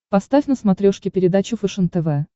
поставь на смотрешке передачу фэшен тв